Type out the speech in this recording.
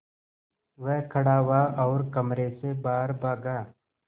वह खड़ा हुआ और कमरे से बाहर भागा